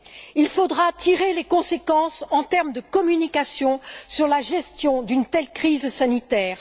Il faudra tirer les conséquences, en termes de communication, de la gestion d'une telle crise sanitaire.